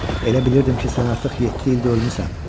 Elə bilirdim ki, sən artıq yeddi ildir ölmüsən.